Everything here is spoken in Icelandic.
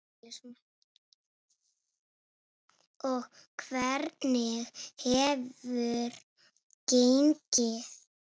Og hvernig hefur gengið?